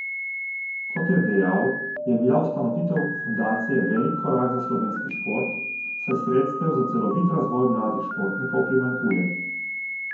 Kot je dejal, je bila ustanovitev fundacije velik korak za slovenski šport, saj sredstev za celoviti razvoj mladih športnikov primanjkuje.